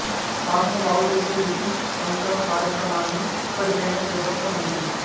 భాషను బాగుచేసే లిపి సంస్కరణ కార్యక్రమాన్ని ఇప్పటికైనా చేపట్టడం మంచిది